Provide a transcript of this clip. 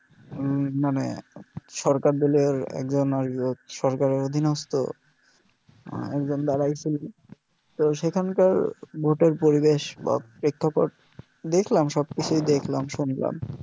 উম মানে সরকার দলীয় একজন সরকারের অধিনস্থ একজন দাঁড়াই ছিল তো সেখানকার ভোটের পরিবেশ বা প্রেক্ষাপট দেখলাম সবকিছু ই দেখলাম শুনলাম